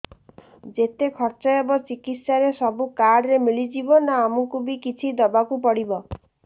ଯେତେ ଖର୍ଚ ହେବ ଚିକିତ୍ସା ରେ ସବୁ କାର୍ଡ ରେ ମିଳିଯିବ ନା ଆମକୁ ବି କିଛି ଦବାକୁ ପଡିବ